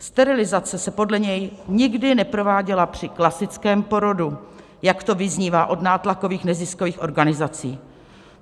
Sterilizace se podle něj nikdy neprováděla při klasickém porodu, jak to vyznívá od nátlakových neziskových organizací.